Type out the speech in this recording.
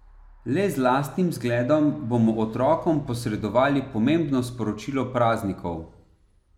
Le z lastnim zgledom bomo otrokom posredovali pomembno sporočilo praznikov.